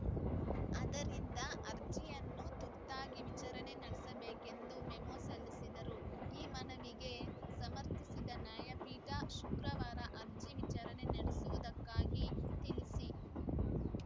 ಆದ್ದರಿಂದ ಅರ್ಜಿಯನ್ನು ತುರ್ತಾಗಿ ವಿಚಾರಣೆ ನಡೆಸಬೇಕು ಎಂದು ಮೆಮೊ ಸಲ್ಲಿಸಿದರು ಈ ಮನವಿಗೆ ಸರ್ಮತಿಸಿದ ನ್ಯಾಯಪೀಠ ಶುಕ್ರವಾರ ಅರ್ಜಿ ವಿಚಾರಣೆ ನಡೆಸುವುದಾಗಿ ತಿಳಿಸಿ